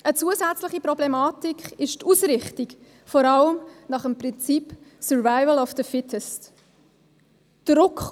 Eine zusätzliche Problematik ist die Ausrichtung, die vor allem nach dem Prinzip «Survival of the Fittest» funktioniert.